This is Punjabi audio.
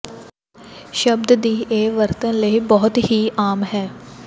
ਸ਼ਬਦ ਦੀ ਇਹ ਵਰਤਣ ਲਈ ਬਹੁਤ ਹੀ ਆਮ ਹੈ